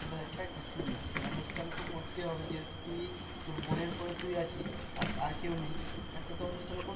হাজার টা কিছুই না অনুষ্ঠান তো করতেই হবে যেহেতু তুই তোর বোনের পরে তুই আছিস আর আর কেউ নেই একটা তো অনুষ্ঠান করতেই হবে